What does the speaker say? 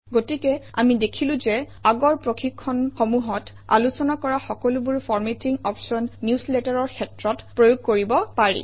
গতিকে আমি দেখিলো যে আগৰ প্ৰশিক্ষণসমূহত আলোচনা কৰা সকলোবোৰ ফৰমেটিং অপশ্যন নিউজলেটাৰৰ ক্ষেত্ৰত প্ৰয়োগ কৰিব পাৰি